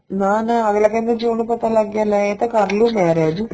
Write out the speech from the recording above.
ਨਾ ਨਾ ਅੱਗਲਾ ਕਹਿੰਦਾ ਜੇ ਉਹਨੂੰ ਪਤਾ ਲੱਗ ਗਿਆ ਲੈ ਏ ਤਾਂ ਕੱਲ ਨੂੰ ਮਾਰਿਆ ਜੂ